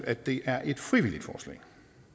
at det er en frivillig ordning